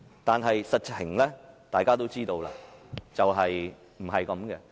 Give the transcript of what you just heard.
但是，大家都知道，實情並非如此。